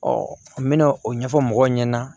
n bɛna o ɲɛfɔ mɔgɔw ɲɛna